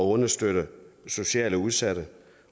understøtte socialt udsatte